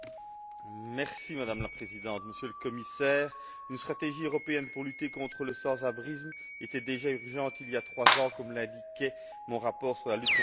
Madame la Présidente, Monsieur le Commissaire, une stratégie européenne pour lutter contre le sans abrisme était déjà urgente il y a trois ans, comme l'indiquait mon rapport sur la lutte contre la pauvreté.